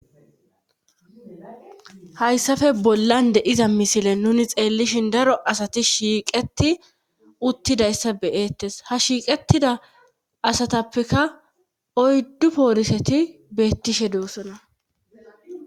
hayssafe bollan de7iza misile nuni xeellishin daro asati shiiqeti uttidayssa beyeettes ha shiiqettida asatappeka oyddu pooriseti beettishe doossona